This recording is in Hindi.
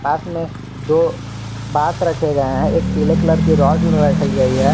पास में दो बास रखे गए हैं एक पीले कलर की रॉड रखी गई है।